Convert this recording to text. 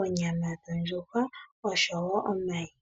onyama dhondjuhwa osho wo omayi.